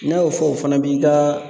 N'a y'o fɔ o fana b'i ka